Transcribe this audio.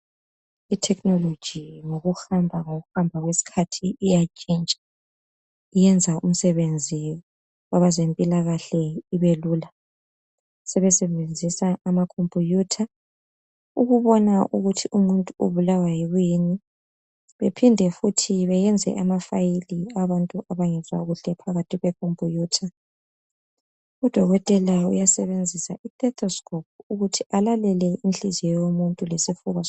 Itechnology ngokuhamba ngokuhamba kwesikhathi Iya itshintsha iyenza umsebenzi kwezempilakahle ibelula. Sebesebenzisa amacompiyutha ukubona ukuthi umuntu ubulawa yikuyini bephinde futhi benze amafayili awabantu abangezwa kuhle phakathi kwekhompiyutha. Udokotela uyasebenzisa istetoscope ukuthi alalele inhliziyo yomuntu lesifuba